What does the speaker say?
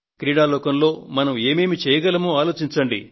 క్రీడాలోకంలో మనం ఏమేమీ చేయగలమో ఆలోచించండి